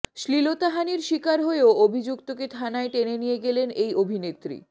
শ্লীলতাহানির শিকার হয়েও অভিযুক্তকে থানায় টেনে নিয়ে গেলেন এই অভিনেত্রী